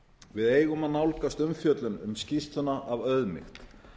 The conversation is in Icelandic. við eigum að nálgast umfjöllun um skýrsluna af auðmýkt